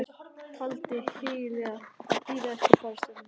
Taldi hyggilegra að bíða eftir fararstjóranum.